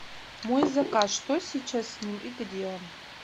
мой заказ что сейчас с ним и где он